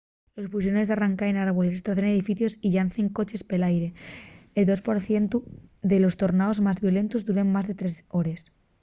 los puxones arranquen árboles estrocen edificios y llancen coches pel aire el dos por cientu de los tornaos más violentos duren más de tres hores